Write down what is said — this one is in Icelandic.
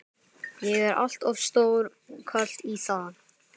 Ég er allt of stór karl í það.